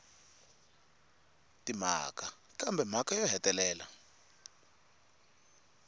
timhaka kambe mhaka yo hetelela